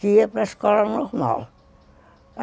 que ia para escola normal.